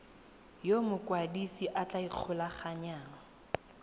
yo mokwadise a tla ikgolaganyang